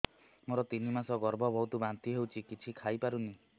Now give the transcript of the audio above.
ମୋର ତିନି ମାସ ଗର୍ଭ ବହୁତ ବାନ୍ତି ହେଉଛି କିଛି ଖାଇ ପାରୁନି